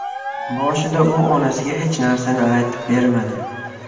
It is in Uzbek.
Boshida u onasiga hech narsani aytib bermadi.